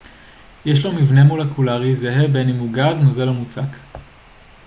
יש לו מבנה מולקולרי זהה בין אם הוא גז נוזל או מוצק